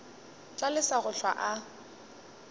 tla lesa go hlwa a